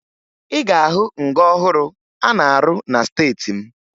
Ị ga-ahụ nga ọhụrụ a na-arụ na steeti m